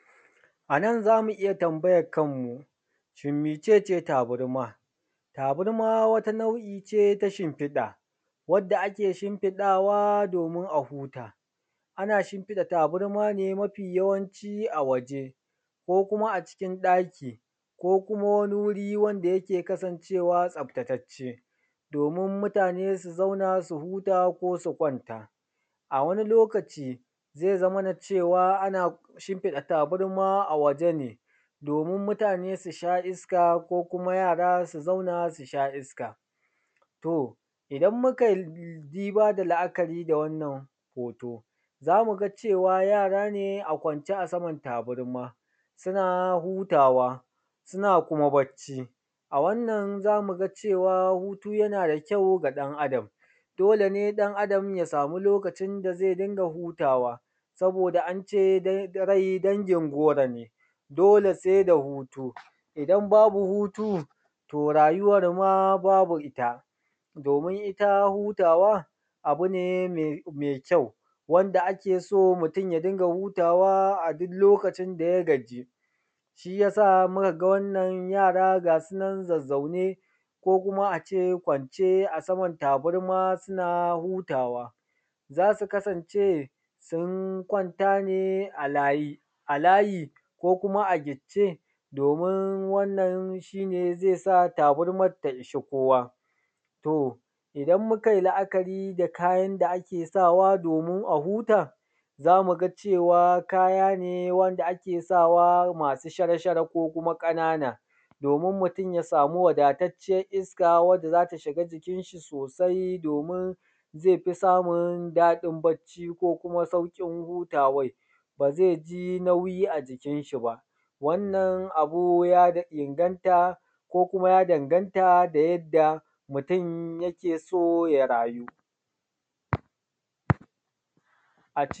Anan zamu iya tambayan kanmu shin mece ce tabarma? Tabarma wata nau'i ce ta shimfiɗa wanda ake shinfiɗawa domin a huta. Ana shinfiɗa tabarma ne mafi yawanci a waje, ko kuma a cikin ɗaki, ko kuma wani wuri wanda yake kasancewa tsaftatacce, domin mutane su zauna su huta, ko su kwanta. A wani lokaci zai zamana cewa ana shimfiɗa tabarma a waje ne, domin mutane su sha iska, ko kuma yara su zauna su sha iska. To idan mu kai diba da la'akari da wannan hoto, za mu ga cewa yara ne a kwance a saman tabarma suna hutawa, suna kuma barci. A wannan za mu ga cewa hutu yana da kyau ga ɗan Adam, dole ne ɗan Adam ya samu lokacin da zai dinga hutawa saboda an ce dai da rai dangin goro ne, dole sai da hutu. Idan babu hutu to rayuwar ma babu ita, domin ita hutawa abu ne mai kyau wanda ake so mutum ya dinga hutawa a duk lokacin da ya gaji. Shi yasa muka ga wannan yara ga su nan zazzaune ko kuma a ce kwance a saman tabarma suna hutawa, za su kasance sun kwanta ne a layi, ko kuma a gicce domin wannan shi ne zai sa tabarmar ta ishi kowa. To idan mukai la'akari da kayan da ake sawa domin a huta, za mu ga cewa kaya ne wanda ake sawa masu shara shara ko kuma ƙanana domin mutum ya samu wadatacciyar iska wanda za ta shiga jikin shi sosai domin zai fi samun daɗin barci ko kuma sauƙin hutawan. Ba zai ji nauyi a jikin shi ba. wannan abu ya inganta ko kuma ya danganta ga yadda mutum yake so ya rayu.